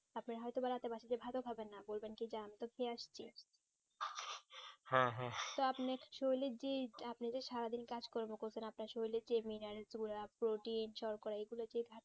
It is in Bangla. আপনি হয়তো বা রাতে ভাত ও খাবেন না বলবেন কি আমি তো খেয়ে আসছি তো আপনি actually যে আপনি যে সারাদিন কাজ কর্ম করছেন আপনার শরীরে কি মিনারের প্রোটিন শর্করা এইগুলো কি ভাবে